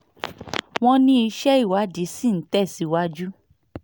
wọ́n ní iṣẹ́ ìwádìí ṣì ń tẹ̀ síwájú